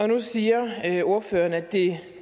nu siger ordføreren at det